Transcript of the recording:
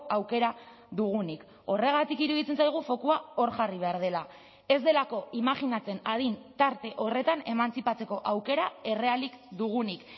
aukera dugunik horregatik iruditzen zaigu fokua hor jarri behar dela ez delako imajinatzen adin tarte horretan emantzipatzeko aukera errealik dugunik